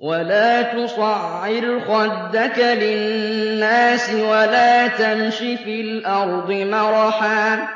وَلَا تُصَعِّرْ خَدَّكَ لِلنَّاسِ وَلَا تَمْشِ فِي الْأَرْضِ مَرَحًا ۖ